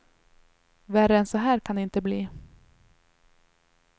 Värre än så här kan det inte bli.